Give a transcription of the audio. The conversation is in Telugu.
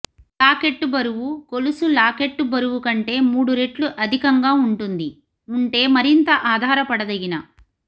లాకెట్టు బరువు గొలుసు లాకెట్టు బరువు కంటే మూడు రెట్లు అధికంగా ఉంటుంది ఉంటే మరింత ఆధారపడదగిన